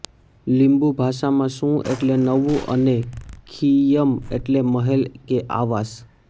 લિંબુ ભાષામાં સુ એટલે નવુ અને ખિયિમ એટલે મહેલ કે આવાસ